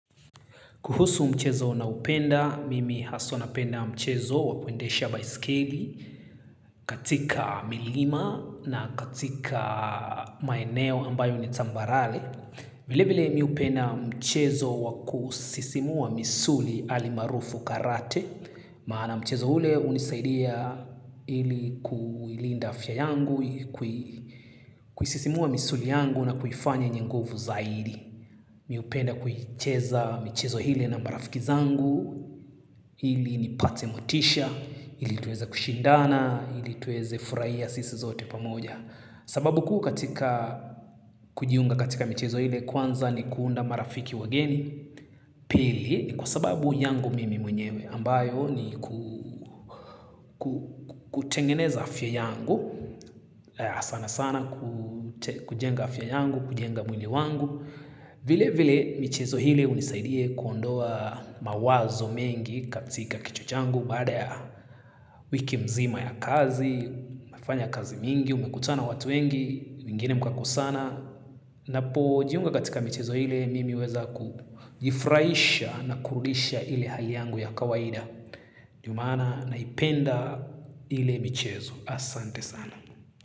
Kuhusu mchezo naopenda, mimi haswa napenda mchezo wa kuendesha baiskeli katika milima na katika maeneo ambayo ni tambarare. Vile vile mi hupenda mchezo wa kusisimua misuli alimaarufu karate. Maana mchezo ule hunisaidia ili kuilinda afya yangu, ili kuisisimua misuli yangu na kuifanya yenye nguvu zaidi. Mi hupenda kuicheza michezo ile na marafiki zangu ili nipate motisha ili tueze kushindana ili tueze furahia sisi zote pamoja. Sababu kuu katika kujiunga katika michezo ile kwanza ni kuunda marafiki wageni. Pili ni kwa sababu yangu mimi mwenyewe ambayo ni kutengeneza afya yangu sana sana kujenga afya yangu. Kujenga mwili wangu. Vile vile michezo ile unisaidia kuondoa mawazo mengi katika kichwa changu baada ya wiki mzima ya kazi umefanya kazi mingi, umekutana watu wengi wengine mkakosana ninapojiunga katika michezo ile mimi huweza kujifurahisha na kurudisha ile hali yangu ya kawaida ndio maana naipenda ile michezo asante sana.